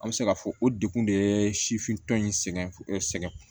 An bɛ se k'a fɔ o dekun de ye sifin tɔ in sɛgɛn sɛgɛn